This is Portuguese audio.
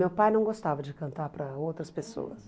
Meu pai não gostava de cantar para outras pessoas.